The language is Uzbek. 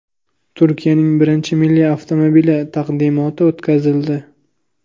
Turkiyaning birinchi milliy avtomobili taqdimoti o‘tkazildi.